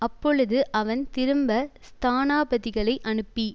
அப்பொழுது அவன் திரும்ப ஸ்தானாபதிகளை அனுப்பி